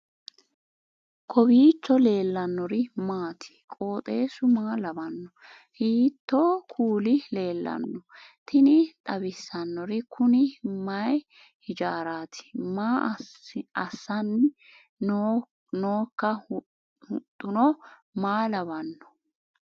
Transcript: kowiicho leellannori maati ? qooxeessu maa lawaanno ? hiitoo kuuli leellanno ? tini xawissannori kuni mayi hijaaraati maa assanni nooika huxuno maa lawaanno